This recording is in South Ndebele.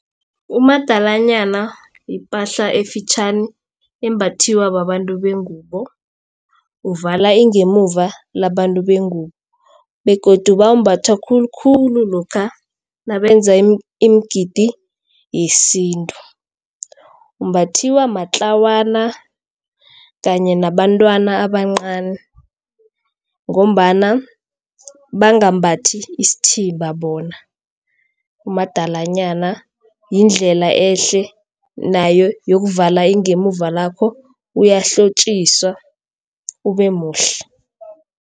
Umadalanyana yipahla efitjhani embathiwa babantu bengubo uvala ingemuva labantu bengubo begodu uwumbatha khulukhulu lokha nabenza imigidi yesintu. Umbathiwa matlawana kanye nabantwana abancani ngombana bangambathi isithimba bona. Umadalanyana yindlela ehle nayo yokuvala ingemuva lakho uyahlotjiswa ube muhle.